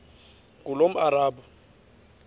ngulomarabu